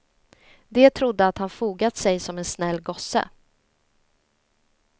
De trodde att han fogat sig som en snäll gosse.